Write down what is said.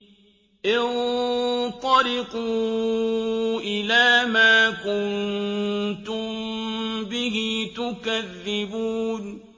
انطَلِقُوا إِلَىٰ مَا كُنتُم بِهِ تُكَذِّبُونَ